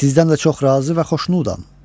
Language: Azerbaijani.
Sizdən də çox razı və xoşnudam.